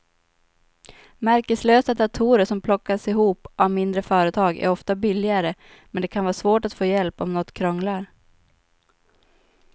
Märkeslösa datorer som plockas ihop av mindre företag är ofta billigare men det kan vara svårt att få hjälp om något krånglar.